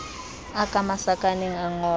a ka masakaneng a ngolwe